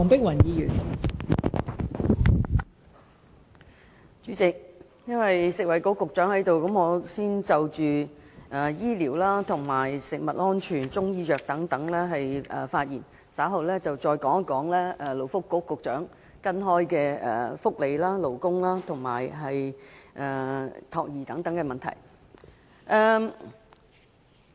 代理主席，由於食物及衞生局局長現時在席，故我想先就醫療、食物安全及中醫藥等議題發言，稍後再就勞工及福利局局長負責的福利、勞工和託兒等問題發言。